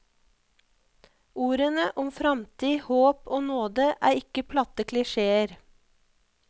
Ordene om framtid, håp og nåde er ikke platte klisjeer.